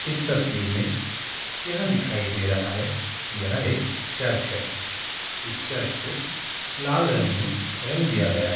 इस तस्वीर में यह दिखाई दे रहा है कि यह एक चर्च है इस चर्च को लाल रंग में रंग दिया गया है।